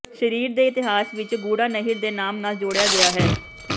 ਸ਼ਹਿਰ ਦੇ ਇਤਿਹਾਸ ਵਿਚ ਗੂੜ੍ਹਾ ਨਹਿਰ ਦੇ ਨਾਮ ਨਾਲ ਜੋੜਿਆ ਗਿਆ ਹੈ